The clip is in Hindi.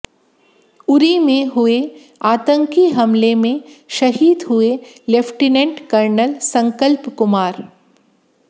उरी में हुए आतंकी हमले में शहीद हुए लेफ्टिनेंट कर्नल संकल्प कुमार